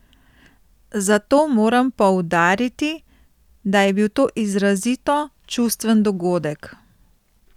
Zato moram poudariti, da je bil to izrazito čustven dogodek.